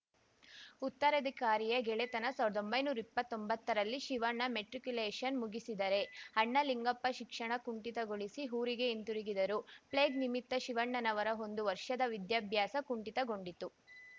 ಉತ್ತರಾಧಿಕಾರಿಯ ಗೆಳೆತನ ಸಾವ್ರ್ದಾ ಒಂಬೈನೂರಾ ಇಪ್ಪತ್ತೊಂಬತ್ತರಲ್ಲಿ ಶಿವಣ್ಣ ಮೆಟ್ರಿಕ್ಯುಲೇಶನ್‌ ಮುಗಿಸಿದರೆ ಅಣ್ಣ ಲಿಂಗಪ್ಪ ಶಿಕ್ಷಣ ಕುಂಠಿತಗೊಳಿಸಿ ಊರಿಗೆ ಹಿಂತಿರುಗಿದರು ಪ್ಲೇಗ್‌ ನಿಮಿತ್ತ ಶಿವಣ್ಣನವರ ಒಂದು ವರ್ಷದ ವಿದ್ಯಾಭ್ಯಾಸ ಕುಂಠಿತಗೊಂಡಿತು